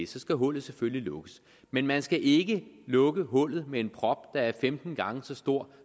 så skal hullet selvfølgelig lukkes men man skal ikke lukke hullet med en prop der er femten gange så stor